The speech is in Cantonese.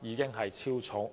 已經超重。